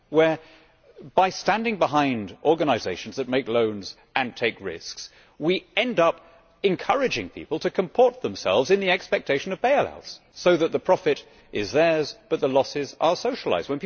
where, by standing behind organisations that make loans and take risks, we end up encouraging people to comport themselves in the expectation of bail outs, so that the profit is theirs but the losses are socialised.